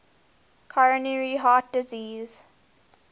coronary heart disease